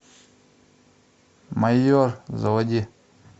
майор заводи